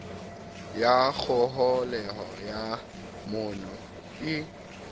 ya kgoholeho ya monu ii